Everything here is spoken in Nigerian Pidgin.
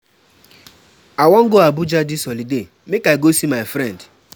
Dis holiday, I go rest well-well um for house as my doctor tell me.